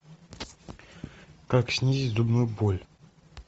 как снизить зубную боль